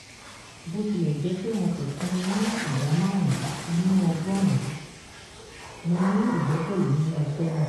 bó tilẹ̀ jẹ́ pé wọn kò fún mi ní ìdá márùn-ún nínú ọgọ́rùn-ún mo ní ìgbẹ́kẹ̀lé nínú iṣẹ́ náà.